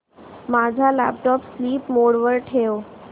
माझा laptop sleep mode वर ठेव